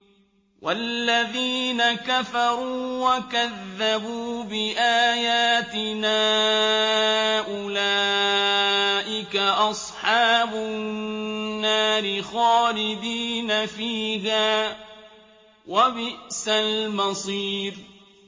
وَالَّذِينَ كَفَرُوا وَكَذَّبُوا بِآيَاتِنَا أُولَٰئِكَ أَصْحَابُ النَّارِ خَالِدِينَ فِيهَا ۖ وَبِئْسَ الْمَصِيرُ